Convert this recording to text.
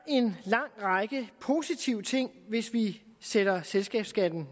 en lang række positive ting hvis vi sætter selskabsskatten